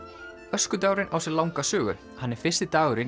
öskudagurinn á sér langa sögu hann er fyrsti dagurinn